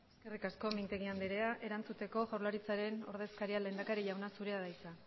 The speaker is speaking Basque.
eskerrik asko mintegi anderea erantzuteko jaurlaritzaren ordezkariak lehendakari jauna zure da hitza